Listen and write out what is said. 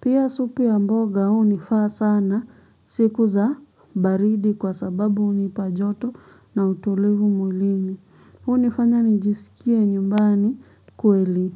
Pia supu ya mboga hunifaa sana siku za baridi kwa sababu hunipa joto na utulivu mwilini. Hunifanya nijisikie nyumbani kweli.